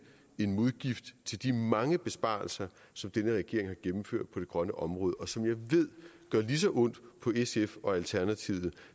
en modgift til de mange besparelser som denne regering har gennemført på det grønne område og som jeg ved gør lige så ondt på sf og alternativet